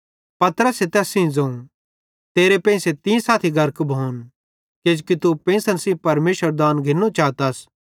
पतरसे तैस सेइं ज़ोवं तेरे पेइंसे तीं सेइं साथी गर्क भोन किजोकि तू पेंइसन सेइं परमेशरेरू दान घिन्नू चातस